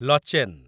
Lachen